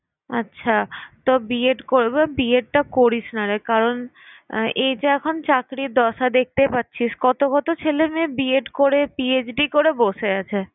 আচ্ছা তো B. Ed করবো B. Ed টা করিস না রে কারণ এইযে এখন চাকরি দশা দেখতে পারছিস কত কত ছেলে মেয়ে B. Ed করে PhD করে বসে আছে।